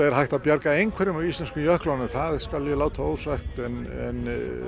hægt að bjarga einhverjum af íslensku jöklunum það skal ég láta ósagt en